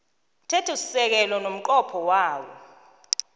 mthethosisekelo nomnqopho wawo